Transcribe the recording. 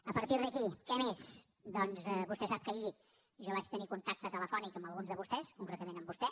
a partir d’aquí què més doncs vostè sap que ahir jo vaig tenir contacte telefònic amb alguns de vostès concretament amb vostè